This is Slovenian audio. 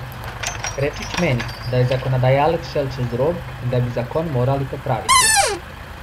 Krečič meni, da je zakonodajalec šel čez rob in da bi zakon morali popraviti.